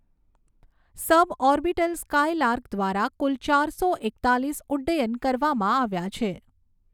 સબ orbital Skylark દ્વારા કુલ ચારસો એકતાલીસ ઉડ્ડયન કરવામાં આવ્યાં છે.